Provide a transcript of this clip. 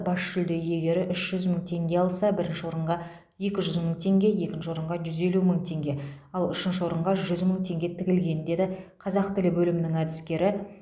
бас жүлде иегері үш жүз мың теңге алса бірінші орынға екі жүз мың теңге екінші орынға жүз елу мың теңге ал үшінші орынға жүз мың теңге тігілген деді қазақ тілі бөлімінің әдіскері